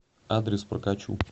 адрес прокачу